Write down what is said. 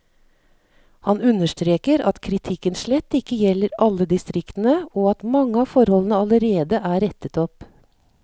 Han understreker at kritikken slett ikke gjelder alle distriktene, og at mange av forholdene allerede er rettet opp.